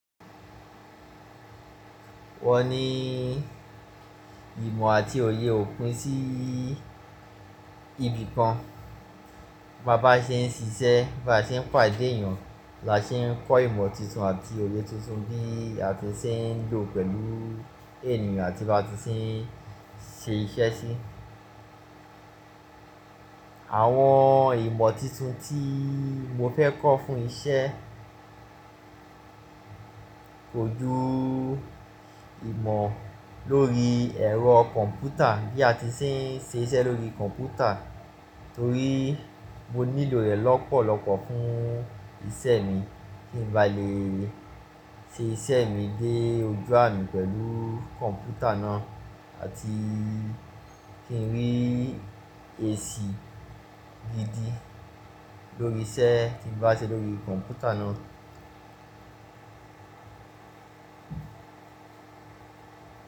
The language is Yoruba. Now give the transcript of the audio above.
Wọ́n ní ìmọ̀ àti òye òpin sí ibìkan. Bá bá ṣe ń ṣiṣẹ́, bá ṣe ń pàdé èèyàn, bá ṣe ń kọ́ ìmọ̀ tuntun àti òye tuntun bí a ti ṣe ń lò pẹ̀lú ènìyàn tí bá ti ṣe ń ṣe iṣẹ́ sí. Àwọn ìmọ̀ tintun tíi mo fẹ́ kọ́ fún iṣẹ́ kojú ìmọ̀ lórí ẹ̀rọ kọ̀m̀pútà bí a ti ṣe ń ṣe iṣẹ́ lórí kọ̀m̀pútà torí mo nílò rẹ̀ lọ́pọ̀lọ́pọ̀ fún ìsẹ mi kí n ba lè ṣe ìsẹ mi dé ojú àmì pẹ̀lú kọ̀m̀pútà náà àti kí n rí èsì gidi lórí isẹ tí bá ṣe lórí kọ̀m̀pútà náà.